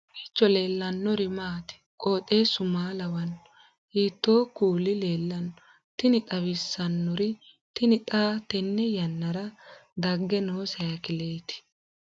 kowiicho leellannori maati ? qooxeessu maa lawaanno ? hiitoo kuuli leellanno ? tini xawissannori tini xa tenne yannara dagge noo saykileeti